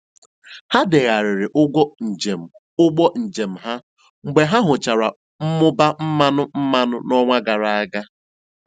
Ha degharịrị ụgwọ njem ụgbọ njem ha mgbe ha hụchara mmụba mmanụ mmanụ n'ọnwa gara aga.